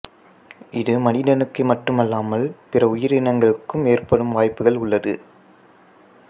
இது மனிதனுக்கு மட்டுமல்லாமல் பிற உயிரினங்களுக்கும் ஏற்படும் வாய்ப்புகள் உள்ளது